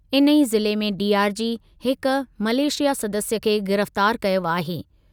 इन ई ज़िले में डीआरजी हिकु मलेशिया सदस्य खे गिरफ़्तारु कयो आहे।